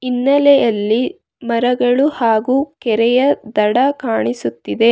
ಹಿನ್ನೆಲೆಯಲ್ಲಿ ಮರಗಳು ಹಾಗು ಕೆರೆಯ ದಡ ಕಾಣಿಸುತ್ತಿದೆ.